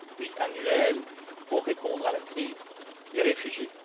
pluriannuel pour répondre à la crise des réfugiés.